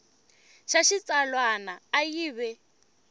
xa xitsalwana a yi ve